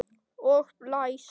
Og blæs.